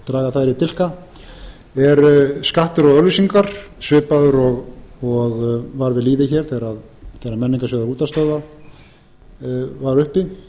draga þær í dilka er skattur á auglýsingar svipaður og var við lýði hér þegar m menningarsjóður útvarpsstöðva var uppi